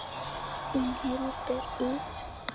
Þín Hildur Ýr.